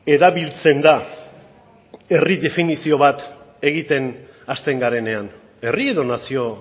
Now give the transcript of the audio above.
erabiltzen da herri definizio bat egiten hasten garenean herri edo nazio